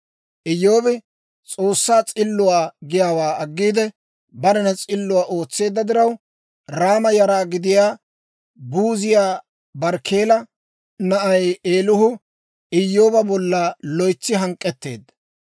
Iyyoobi S'oossaa s'illuwaa giyaawaa aggiide, barena s'illuwaa ootseedda diraw, Raama yara gidiyaa Buuziyaa Barkkeela na'ay Eelihu Iyyooba bolla loytsi hank'k'etteedda.